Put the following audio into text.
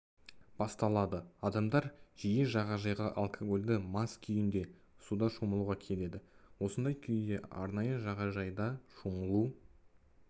басталады адамдар жиі жағажайға алкогольді мас күйінде суда шомылуға келеді осындай күйде арнайы жағажайда шомылу